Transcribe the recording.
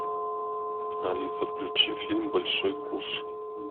алиса включи фильм большой куш